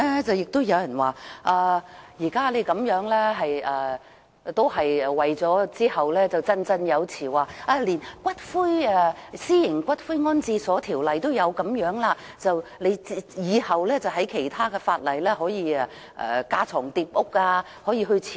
有人提出我們現在這做法，只是為了往後可以振振有詞指《私營骨灰安置所條例》已有這安排，讓我們在其他法例架床疊屋般僭建。